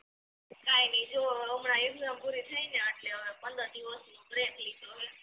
કાઇ નઇ જો હમણા exam પૂરી થાયને એટલે પંદર દિવસનો break લીધો હે